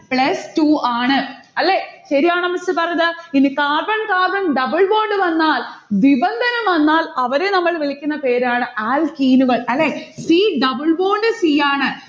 plus two ആണ്. അല്ലെ? ശരിയാണോ miss പറഞ്ഞത്? ഇനി carbon carbon double bond വന്നാൽ വിബന്ധനം വന്നാൽ അവരെ നമ്മൾ വിളിക്കുന്ന പേരാണ് alkene ഉകൾ. അല്ലെ? c double bond c ആണ്